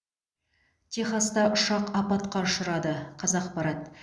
техаста ұшақ апатқа ұшырады қазақпарат